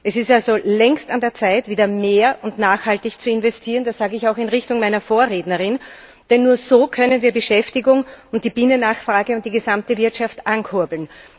Es ist also längst an der Zeit, wieder mehr und nachhaltig zu investieren. Das sage ich auch in Richtung meiner Vorrednerin. Denn nur so können wir Beschäftigung, die Binnennachfrage und die gesamte Wirtschaft ankurbeln.